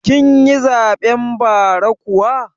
Kin yi zaɓen bara kuwa?